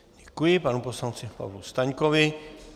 Děkuji panu poslanci Pavlu Staňkovi.